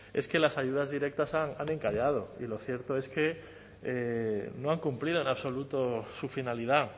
es que las ayudas directas han encallado y lo cierto es que no han cumplido en absoluto su finalidad